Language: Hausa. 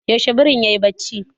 Yaushe birin yayi barci?